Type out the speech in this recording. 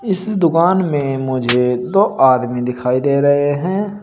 इस दुकान में मुझे दो आदमी दिखाई दे रहे हैं।